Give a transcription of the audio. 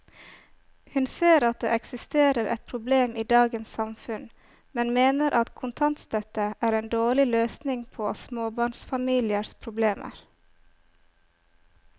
Hun ser at det eksisterer et problem i dagens samfunn, men mener at kontantstøtte er en dårlig løsning på småbarnsfamiliers problemer.